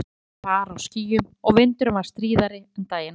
Úti var far á skýjum og vindurinn var stríðari en daginn áður.